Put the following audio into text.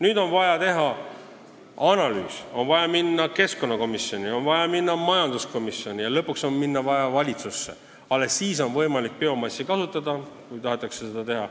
Nüüd on vaja teha analüüs, on vaja minna keskkonnakomisjoni, on vaja minna majanduskomisjoni ja lõpuks on vaja minna valitsusse – alles siis on võimalik biomassi kasutada, kui tahetakse seda teha.